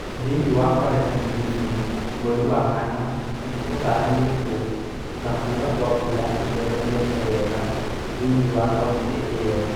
Thiini wa Kwale na Kilifi, mweri wa kana ni utaranitwo na kuura kwa mbura i͂theremete wega thiini wa county iyo.